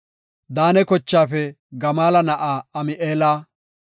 Daane kochaafe Gamaala na7aa Ami7eela;